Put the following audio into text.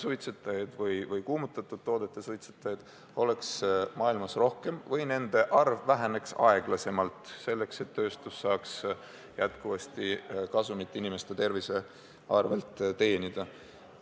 Siht on, et sigarettide suitsetajaid või kuumutatud toodete suitsetajaid oleks maailmas rohkem või nende arv väheneks aeglasemalt, selleks et tööstus saaks jätkuvasti inimeste tervise arvel kasumit teenida.